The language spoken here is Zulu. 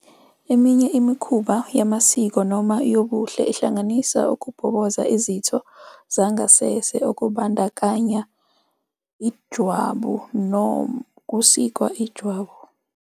Eminye imikhuba yamasiko noma yobuhle ihlanganisa ukubhoboza izitho zangasese okubandakanya ijwabu nokusika ijwabu.